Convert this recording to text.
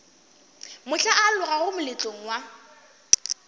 mohla o alogago moletlong wa